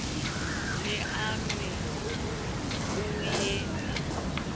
ne a re o ya